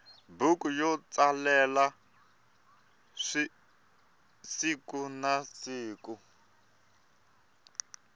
buku yo tsalela sikunasiku